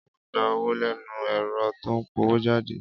Á o gba owó lẹ́nu ẹ̀rọ tó ń pọwójáde